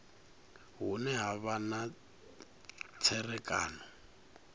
hune ha vha na tserakano